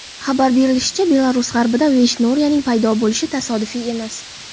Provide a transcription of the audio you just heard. Xabar berilishicha, Belarus g‘arbida Veyshnoriyaning paydo bo‘lishi tasodifiy emas.